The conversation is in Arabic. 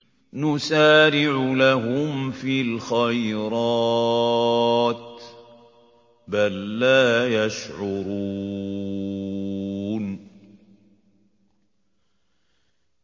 نُسَارِعُ لَهُمْ فِي الْخَيْرَاتِ ۚ بَل لَّا يَشْعُرُونَ